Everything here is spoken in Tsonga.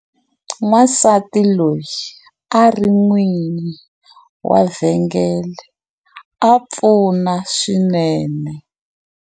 Wansati loyi a ri n'wini wa vhengele a pfuna swinene.